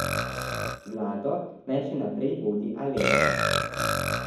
Vlado naj še naprej vodi Alenka.